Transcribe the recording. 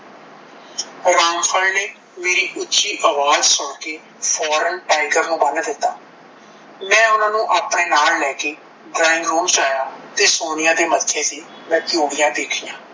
ਰਾਮ ਫਲ ਨੇ ਮੇਰੀ ਉੱਚੀ ਆਵਾਜ਼ ਸੁਣ ਕੇ ਫੌਰਨ ਟਾਈਗਰ ਨੂੰ ਬਨ੍ਹ ਦਿੱਤਾ ਮੈਂ ਓਹਨਾਂ ਨੂੰ ਆਪਣੇ ਨਾਲ ਲੈ ਕੇ ਡਰਾਇੰਗ ਰੂਮ ਵਿੱਚ ਆਇਆ ਤੇ ਸੋਨੀਆ ਦੇ ਮੱਥੇ ਤੇ ਮੈਂ ਤਿਊੜੀਆਂ ਦੇਖੀਆਂ